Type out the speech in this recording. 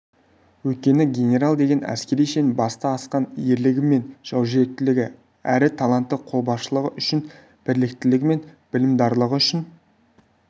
өйткені генерал деген әскери шен баста асқан ерлігі мен жаужүректігі әрі талантты қолбасшылығы үшін біліктілігі мен білімдарлығы үшін